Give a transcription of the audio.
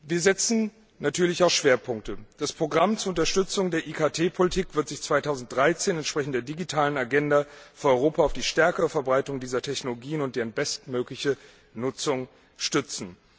Wir setzen natürlich auch Schwerpunkte Das Programm zur Unterstützung der IKT Politik wird sich 2013 entsprechend der digitalen Agenda für Europa auf die stärkere Verbreitung dieser Technologien und deren bestmögliche Nutzung stützen.